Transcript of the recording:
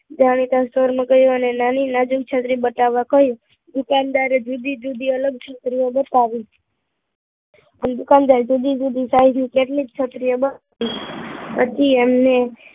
ત્યારે સુર માં કહીંયુ, અને નાની નાજુક છત્રીએ બતાવવા કહીંયુ, દૂકદારે જુદી જુદી અલગ છત્રીઓ બતાવી અને દુકાનદારે જુદી જુદી સાઈઝ ની કેટલીક છત્રીઓ બતાવી બધી એમને